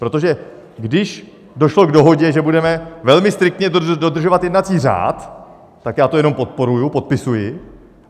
Protože když došlo k dohodě, že budeme velmi striktně dodržovat jednací řád, tak já to jenom podporuji, podepisuji.